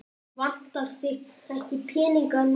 Vantar þig ekki peninga núna?